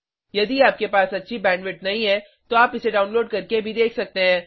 यदि आपके पास अच्छी बैंडविड्थ नहीं है तो आप इसे डाउनलोड करके भी देख सकते हैं